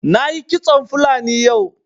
Na yi kitson fulani yau